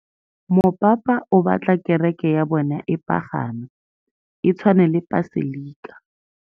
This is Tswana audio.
Mopapa o batla kereke ya bone e pagame, e tshwane le paselika.